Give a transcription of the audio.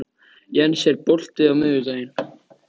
Jens, er bolti á miðvikudaginn?